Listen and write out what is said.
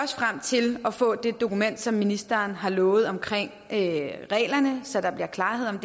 frem til at få det dokument som ministeren har lovet om reglerne så der bliver klarhed om